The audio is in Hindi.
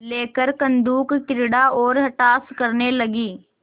लेकर कंदुकक्रीड़ा और अट्टहास करने लगी